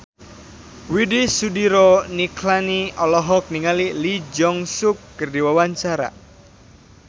Widy Soediro Nichlany olohok ningali Lee Jeong Suk keur diwawancara